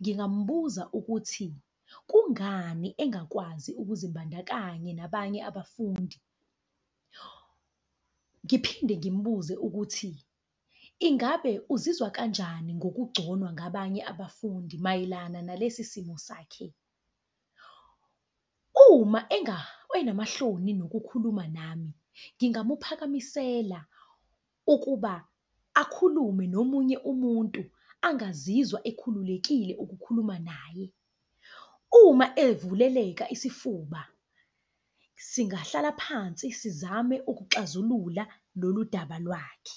Ngingambuza ukuthi, kungani engakwazi ukuzimbandakanya nabanye abafundi? Ngiphinde ngimbuze ukuthi, ingabe uzizwa kanjani ngokugconwa ngabanye abafundi mayelana nalesi simo sakhe? Uma enamahloni nokukhuluma nami, ngingamuphakamisela ukuba akhulume nomunye umuntu angazizwa ekhululekile ukukhuluma naye. Uma evuleleka isifuba singahlala phansi sizame ukuxazulula lolu daba lwakhe.